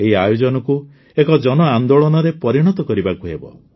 ଏହି ଆୟୋଜନକୁ ଏକ ଜନଆନ୍ଦୋଳନରେ ପରିଣତ କରିବାକୁ ହେବ